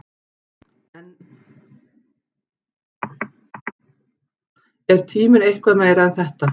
Er tíminn eitthvað meira en þetta?